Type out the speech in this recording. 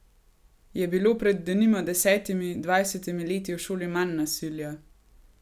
Je bilo pred denimo desetimi, dvajsetimi leti v šoli manj nasilja?